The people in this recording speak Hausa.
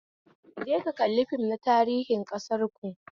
Je ka kalli fim na tarihin ƙasarku